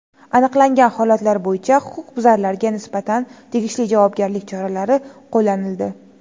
Aniqlangan holatlar bo‘yicha huquqbuzarlarga nisbatan tegishli javobgarlik choralari qo‘llanildi.